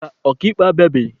Mba, ọka ikpe abịabeghị.